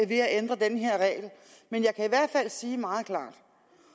ved at ændre den her regel men jeg kan i hvert fald sige meget klart